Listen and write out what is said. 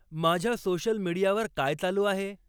माझ्या सोशल मिडीयावर काय चालू आहे